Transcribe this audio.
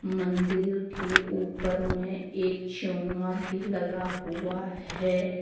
मंदिर के ऊपर में एक चोंगा भी लगा हुआ है।